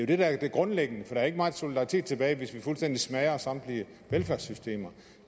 det der er det grundlæggende for der er ikke meget solidaritet tilbage hvis vi fuldstændig smadrer samtlige velfærdssystemer